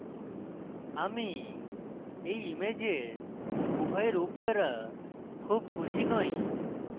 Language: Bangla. আমি এই ইমেজের উভয় রূপ দ্বারা খুব খুশি নই